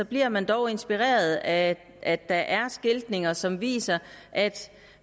bliver man dog inspireret af at der er skiltning som viser at